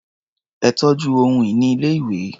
Ẹ tọ́jú ohun-ìní ilé-ìwé.